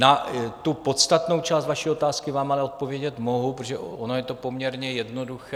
Na tu podstatnou část vaší otázky vám ale odpovědět mohu, protože ono je to poměrně jednoduché.